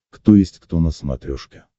кто есть кто на смотрешке